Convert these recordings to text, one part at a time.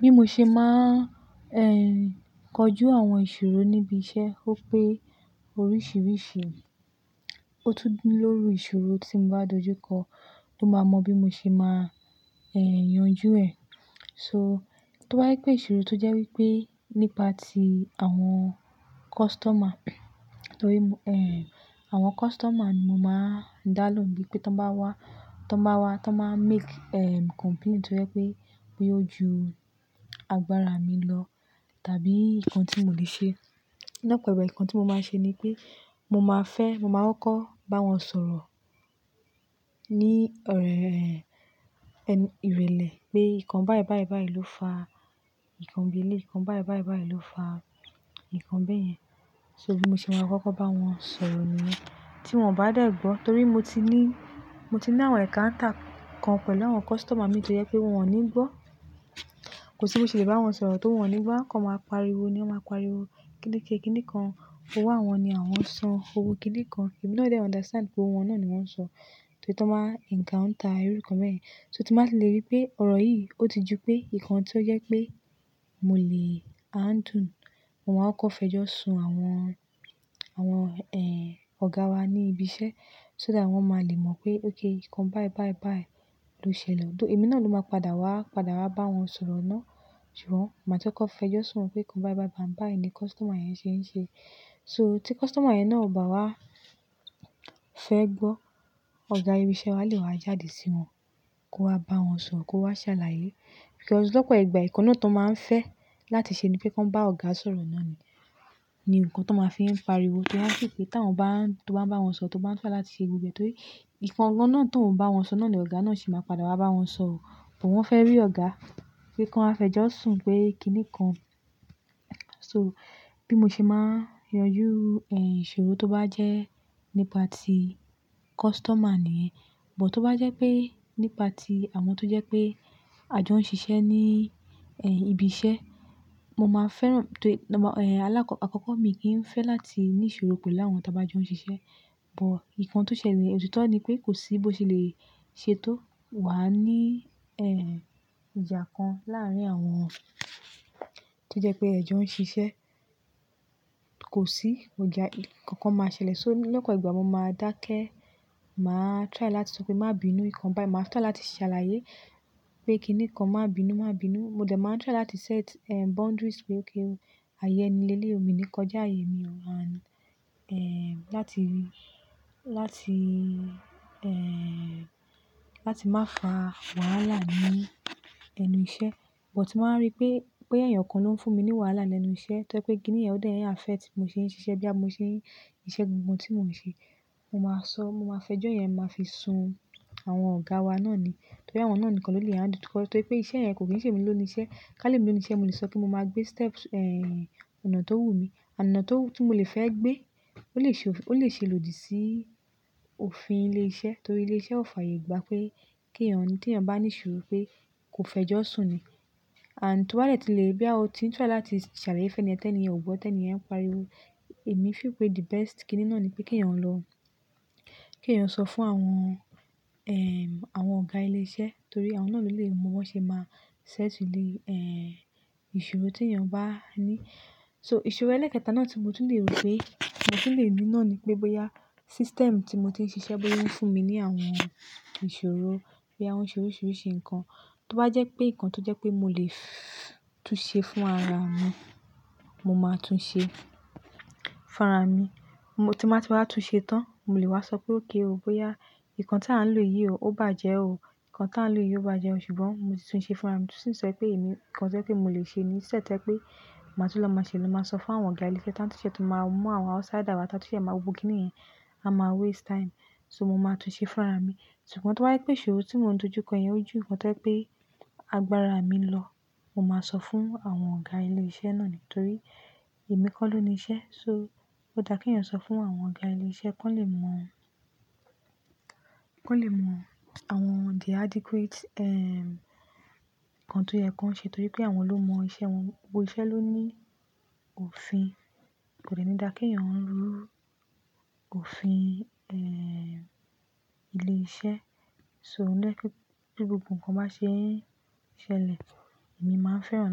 Bí mo ṣe máa ń kọjú àwọn ìṣòro níbi iṣẹ́ ó pé oríṣìíríṣìí. Ó tú ní lórí ìṣòro tí m bá dojú kọ ló máa mọ bí mo ṣe máa yanjú ẹ̀. So tó bá ye pé ìṣòro tó jẹ́ wípé nípa tí àwọn customer, torí m, àwọn customer ni mo máa dá lóhùn bí pé tó bá wá, tó bá wá, tó máa make complain tó jẹ́ pé, pé ó ju agbára mi lọ, tàbí ìkan tí mò lè ṣe. Lapere ìkan tí mo máa ń ṣe ni pé mo máa fẹ́, mo máa kọ́ kò bá wọn sọ̀rọ̀ ní ọ̀rẹẹ́ ẹnu, ìrèlè pé ìkan báyìí, báyìí, báyìí ló fa ìkan bí éléyì, ìkan báyìí, báyìí, báyìí ló fa ìkan bẹ́ẹ̀ yẹn. So bí mo ṣe máa kọ́kọ́ bá wọn sọ̀rọ̀ nìyẹn tí wọ́n bá dé gbọ́. Torí mo ti ní, mo ti ní àwọn encounter kan pẹ̀lú àwọn customer mi tó jẹ́ pé wọ́n nígbọ́. Kò sí bó ṣe lè bá wọn sọ̀rọ̀ tó wọ́n ò nígbọ́. Wọ́n kọ́ máa pariwo ni wọ́n máa pariwo kíni ké, kíni kan. Òwó àwọn ni àwọn ń sọn òwò kíni kan. Èmi náà dè understand pé òwò won náà ni wọ́n ń sọ tó rí tó bá encounter irú nǹkan bẹ́ẹ̀ yẹn. So tí màá ti lè rí pé ọ̀rọ̀ yìí ó ti ju pé ìkan tó jẹ́ pé mo lè handle, mo máa kọ́ kò fẹjọ́ sùn àwọn, àwọn ọ̀gá wa ní ibi iṣẹ́ so that wọ́n máa lè mọ̀ pé okay ìkan báyìí, báyìí, báyìí ló ṣẹlẹ̀. Ò do èmi náà ló máa padà wá, padà wá bá wọn sọ̀rọ̀ náà. Ṣùgbọ́n màá ti kọ́ kò fẹjọ́ sùn pé ìkan báyìí, báyìí, báyìí ni customer yẹn ṣe ń ṣe. So tí customer yẹn náà ò bá wá fẹ́ gbọ́, ọ̀gá ibi iṣẹ́ wa lè wá jáde sí wọn kó wá bá wọn sọ̀rọ̀, kó wá ṣàlàyé. Plus Lò pò ìgbà ìkan náà tó máa ń fẹ́ láti ṣe ni pé kò ń bá ọ̀gá sọ̀rọ̀ náà ni, ni nǹkan tó máa ń fi ń pariwo. Torí wọ́n feel pé tá wọn bá ń, tó bá ń bá wọn sọ, tó bá ń fẹ́ láti ṣe gbogbo torí Ìkan gan náà tó ń bá wọn sọ náà ni ọ̀gá náà sì máa padà wá bá wọn sọ ó. Bó wọ́n fẹ́ rí ọ̀gá pé kó wá fẹjọ́ sùn pé kíni kan. So bí mo ṣe máa yanjú ẹ́ ìṣòro tó bá jẹ́ nípa tí customer niyen but to bá jẹ́ pé nípa tí àwọn tó jẹ́ pé àjọ ń ṣiṣẹ́ ní ẹ́ ibi iṣẹ́, mo máa fẹ́ràn tó-- ẹ̀ alákọ, àkọ́kọ́ mi kì í fẹ́ láti ní ìṣòro pẹ́lú àwọn tí a bá jọ ń ṣiṣẹ́. Òtò bá jẹ́ pé nípa tí àwọn tó jẹ́ pé àjọ ń ṣiṣẹ́ ní ẹ́ ibi iṣẹ́, mo máa fẹ́ràn tó-- ẹ̀ alákọ, àkọ́kọ́ mi kì í fẹ́ láti ní ìṣòro pẹ́lú àwọn tí a bá jọ ń ṣiṣẹ́. But nkan tó ṣẹlẹ̀ ni òtítọ́ ni pé kò sí bó ṣe lè ṣe tó wà ní ẹ́ ìjà kan láàárín àwọn tó jẹ́ pé ẹ jọ ń ṣiṣẹ́ kò sí. Òjá kankan máa ṣẹlẹ̀. So lọ́pọ̀ ìgbà mo máa dákẹ́, màá try láti sọ pé má bí inúnìkan báyìí. Màá try láti ṣàlàyé pé kíni kan má bí inú, má bí inú. Mo dẹ̀ máa try láti set ẹ boundaries pé okay o ayẹ eniyii leleyii o mi ni kọjá ayẹ mi ò and ẹ̀ láti, láti ẹ́ láti má fa wàhálà ní ẹnu iṣẹ́. But màá wa rí pé, pé ẹ̀yàn kan ló ń fún mi ní wàhálà lẹ́nu iṣẹ́ tó jẹ́ pé kíni ẹ́ ò dẹ̀ n affect bi mo ṣe ń ṣiṣẹ́ bí a mo ṣe ń iṣẹ́ gbogbo ohun tí mò ń ṣe. Mo máa sọ, mo máa fẹjọ́ yẹn máa fi sun àwọn ọ̀gá wa náà ni. Torí àwọn náà nìkan ló lè handle. Torí pé iṣẹ́ yẹn kò kì í ṣe mi ló ni iṣẹ́. Ká lè mi ló ni iṣẹ́, mo lè sọ kí mo máa gbé steps ẹ́ ọ̀nà tó wù mí. Ona tó, tí mo lè fẹ́ gbé ó lè ṣe òf-ò lè ṣe lòdì sí òfin ilé iṣẹ́. Torí ilé iṣẹ́ ó fàyè gbà pé kí èèyàn, kí èèyàn bá ní ìṣòro pé kò fẹjọ́ sùn ni. And ti o ba de ti lè boya o ti n try láti ṣàlàyé fun eniyen ti eniyẹn ò gbọ́, ti eniyen ń pariwo. Èmi feel pe the best kíni náà ni pé kí èèyàn lọ, kí èèyàn sọ fún àwọn ẹ́, àwọn ọ̀gá ilé iṣẹ́. Torí àwọn náà ló lè mọ bi wọ́n ṣe máa settle the e ìṣòro tí èèyàn bá ní. So ìṣòro ẹlẹ́ẹ̀kẹta náà tí mo tún lè rò pé, mo tún lè ní náà ni pé bóyá system tí mo ti ń ṣiṣẹ́ bóyá ń fún mi ní àwọn ìṣòro bí i àwọn ìṣòro oríṣìíríṣìí nǹkan. Tó bá jẹ́ pé nǹkan tó jẹ́ pé mo lè fff tun ṣe fún ara mi, mo máa tun ṣe fún ara mi. Mo tí màá ti wá tun ṣe tán, mo lè wá sọ pé okay ó bóyá nǹkan tí à ń lò yìí ò bá jẹ́ ó, nǹkan tí à ń lò yìí ò bá jẹ́ ó. Ṣùgbọ́n mo ti tun ṣe fún ara mi. Since to je pé èmi nǹkan tí o je pe mò lè ṣe ni instead to je pé màá tó lọ máa ṣe ló máa sọ fún àwọn ọ̀gá ilé iṣẹ́ tán tí ṣẹ́ tun máa mú àwọn outsider wá ta tun ṣẹ́ máa wo gbogbo kíni yẹn. A máa waste time. So mo máa tun ṣe fún ara mi. Ṣùgbọ́n tó bá yí pé ìṣòro tí mò ń dojú kọ ẹ́ yẹn ó ju nǹkan tó jẹ́ pé agbára mi lọ, mo máa sọ fún àwọn ọ̀gá ilé iṣẹ́ náà nítorí èmi kọ́ ló ni iṣẹ́. So ó dá kí èèyàn sọ fún àwọn ọ̀gá ilé iṣẹ́ kí wọ́n lè mọ̀, kí wọ́n lè mọ̀ àwọn the adequate ẹ́ nǹkan tó yẹ kí wọn ṣe torí pé àwọn ló mọ iṣẹ́ wọn. Gbogbo iṣẹ́ ló ní òfin. Kò dẹ́ni dá kí èèyàn ń rú òfin ẹ́ ilé iṣẹ́. So ó dẹ́ pé, pé gbogbo nǹkan bá ṣe é ṣẹlẹ̀, èmi máa ń fẹ́ràn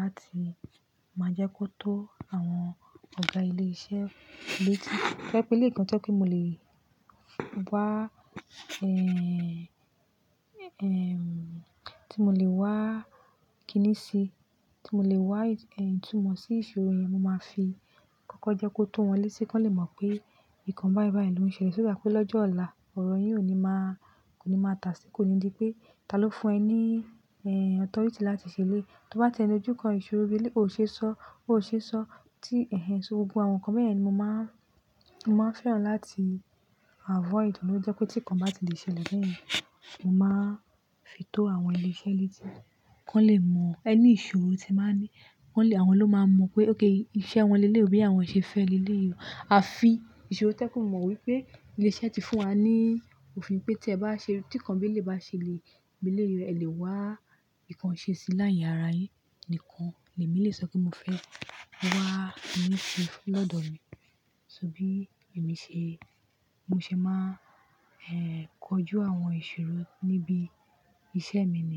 láti máa jẹ́ kó tó àwọn ọ̀gá ilé iṣẹ́. Bíi tí to je pé eleyii gan tó jẹ́ pé mo lè wá ẹ́, ẹ́ tí mo lè wá kíni sí, tí mo lè wá ìtúmọ̀ sí ìṣòro yẹn, mo máa fi kọ́kọ́ jẹ́ kó tó wọn léṣe kí wọ́n lè mọ̀ pé ìkan báyìí, báyìí ló ń ṣẹlẹ̀. So dá pé lọ́jọ́ ọ̀la ọ̀rọ̀ yìí ò ní máa, kò ní máa tàsí, kò ní di pé ta ló fún ẹ ní ẹ́ authority tí láti ṣẹ eleyii Tó bá ti e dojú ko ìṣòro bí eleyii ó ṣe sọ, ó ṣe sọ tí ẹ̀hẹ̀. So gbogbo àwọn nǹkan bẹ́ẹ̀ yẹn ni mo máa ń, mo máa ń fẹ́ràn láti avoid. Óun ló jẹ́ pé tí nǹkan bá ti lè ṣẹlẹ̀ bẹ́ẹ̀ yẹn, mo máa fi tó àwọn ilé iṣẹ́ létí kí wọ́n lè mọ̀ ẹni ìṣòro tí ẹ máa ní. Kí wọ́n lè àwọn ló máa mọ̀ pé okay iṣẹ́ wọn léleyii o bí àwọn ṣe fẹ́ lé léleyii o A fi ìṣòro to je pe mọ wípé ilé iṣẹ́ ti fún wa ní òfin pé tí ẹ bá ṣe, tí nǹkan bí eleyii bá ṣẹlẹ̀ bí eleyii o ẹ lè wá nkan ṣe sí laye ara yín. Ìkankan lè mi lè sọ pé mo fẹ́ wá míì sí lọ́dọ̀ mi. So bí èmi ṣe, mo ṣe máa ẹ̀ kọjú àwọn ìṣòro níbi iṣẹ́ mi nìyẹn.